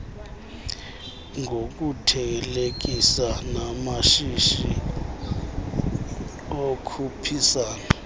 ngokuthelekisa namashishi okhuphisana